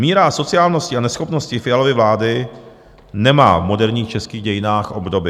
Míra asociálnosti a neschopnosti Fialovy vlády nemá v moderních českých dějinách obdoby.